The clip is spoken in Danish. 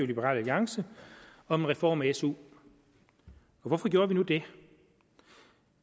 liberal alliance om en reform af su og hvorfor gjorde vi nu det